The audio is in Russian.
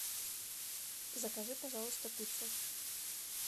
закажи пожалуйста пиццу